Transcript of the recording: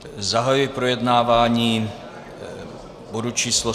Zahajuji projednávání bodu číslo